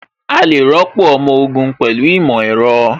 A lè rọ́pò ọmọ ogun pẹ̀lú ìmọ̀ ẹ̀rọ